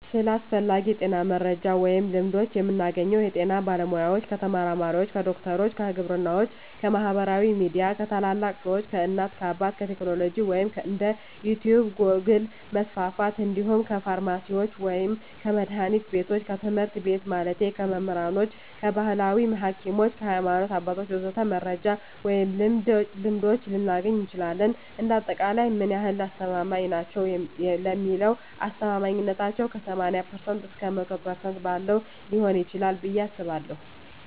ስለ አስፈላጊ የጤና መረጃ ወይም ልምዶች የምናገኘው ከጤና ባለሙያ፣ ከተመራማሪዎች፣ ከዶክተሮች፣ ከግብርናዎች፣ ከማህበራዊ ሚዲያ፣ ከታላላቅ ሰዎች፣ ከእናት አባት፣ ከቴክኖሎጂ ወይም እንደ ዩቲቭ ጎግል% መስፍፍት እንዲሁም ከፍርማሲስቶች ወይም ከመድሀኒት ቢቶች፣ ከትምህርት ቤት ማለቴ ከመምህራኖች፣ ከባህላዊ ሀኪሞች፣ ከሀይማኖት አባቶች ወዘተ..... መረጃ ወይም ልምዶች ልናገኝ እንችላለን። እንደ አጠቃላይ ምን ያህል አስተማማኝ ናቸው ለሚለው አስተማማኝነታው ከ80% እስከ 100% ባለው ሊሆን ይችላል ብየ አስባለሁ።